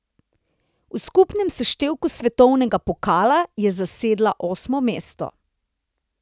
V skupnem seštevku svetovnega pokala je zasedla osmo mesto.